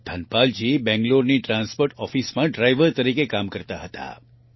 ધનપાલજી બેંગ્લોરની ટ્રાન્સપોર્ટ ઓફિસમાં ડ્રાઈવર તરીકે કામ કરતા હતા